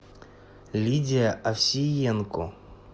лидия овсиенко